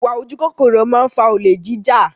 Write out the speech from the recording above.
Ìwà ojú kòkòrò máa ń fa olè jija